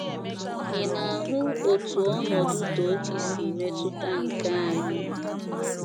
Ị̀ na - ahụ otú ọnọdụ Tochi si metụta nke anyị?